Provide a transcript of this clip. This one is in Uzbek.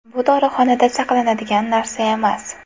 Bu ‘dorixonada saqlanadigan’ narsa emas.